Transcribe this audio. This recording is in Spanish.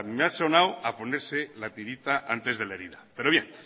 me ha sonado a ponerse la tirita antes de la herida pero bien